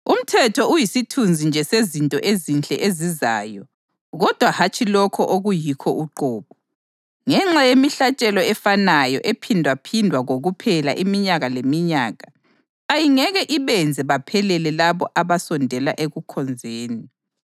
Umthetho uyisithunzi nje sezinto ezinhle ezizayo kodwa hatshi lokho okuyikho uqobo. Ngenxa yemihlatshelo efanayo ephindwaphindwa kokuphela iminyaka leminyaka ayingeke ibenze baphelele labo abasondela ekukhonzeni.